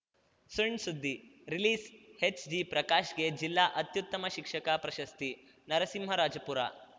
ಸಣ್‌ ಸುದ್ದಿ ರಿಲೀಸ್‌ಹೆಚ್‌ಜಿಪ್ರಕಾಶ್‌ಗೆ ಜಿಲ್ಲಾ ಅತ್ಯುತ್ತಮ ಶಿಕ್ಷಕ ಪ್ರಶಸ್ತಿ ನರಸಿಂಹರಾಜಪುರ